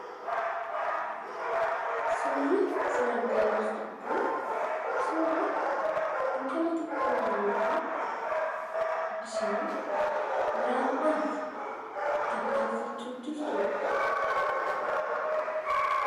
Suurri isin argaa jirtan kun suura intala xiqqoo bareedduu bishaan waraabuudhaaf tattaaffachuu jirtudha.